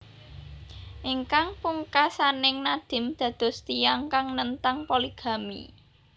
Ingkang pungkasaning Nadim dados tiyang kang nentang poligami